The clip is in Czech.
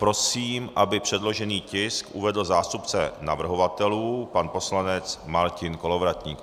Prosím, aby předložený tisk uvedl zástupce navrhovatelů pan poslanec Martin Kolovratník.